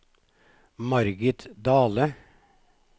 Margit Dahle